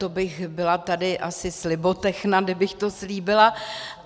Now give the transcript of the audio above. To bych byla tady asi slibotechna, kdybych to slíbila.